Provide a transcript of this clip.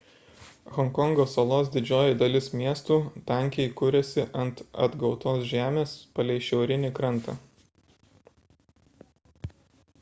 honkongo salos didžioji dalis miestų tankiai kuriasi ant atgautos žemės palei šiaurinį krantą